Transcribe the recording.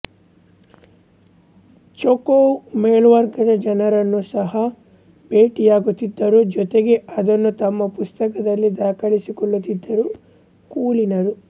Chekhov ಮೇಲ್ವರ್ಗದ ಜನರನ್ನೂ ಸಹ ಭೇಟಿಯಾಗುತ್ತಿದ್ದರು ಜೊತೆಗೆ ಅದನ್ನು ತಮ್ಮ ಪುಸ್ತಕದಲ್ಲಿ ದಾಖಲಿಸಿಕೊಳ್ಳುತ್ತಿದ್ದರು ಕುಲೀನರು